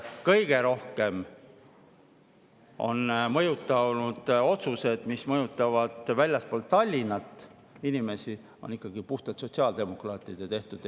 Kõige rohkem otsuseid, mis mõjutavad inimesi väljaspool Tallinna, on teinud ikkagi puhtalt sotsiaaldemokraadid.